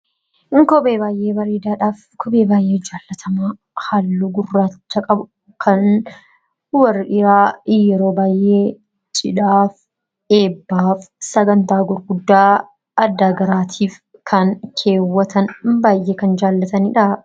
Kun kophee baay'ee bareedadha. kophee baay'ee jaallatamaa halluu gurraacha qabu kan warri dhiraa yeroo baay'ee cidhaaf, eebbaaf, sagantaa gurguddaa adda garaatiif kan keewatanidha, baay'ee kan jaalatanidha.